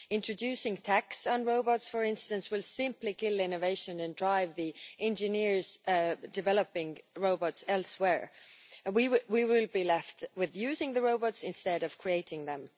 Introducing a tax on robots, for instance, will simply kill innovation and drive the engineers developing robots elsewhere, and we will be left using the robots instead of creating them.